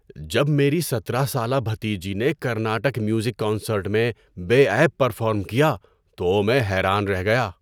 جب میری سترہ سالہ بھتیجی نے کرناٹک میوزک کنسرٹ میں بے عیب پرفارم کیا تو میں حیران رہ گیا۔